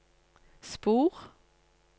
spor